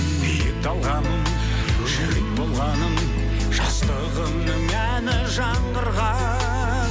биік талғамым жүрек болғаным жастығымның әні жаңғырған